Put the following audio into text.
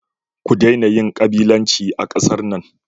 Ku daina yin kabilanci a kasar nan.